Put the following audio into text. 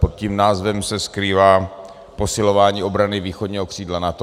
Pod tím názvem se skrývá posilování obrany východního křídla NATO.